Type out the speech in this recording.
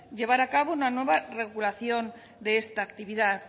llevar a cabo una nueva regulación de esta actividad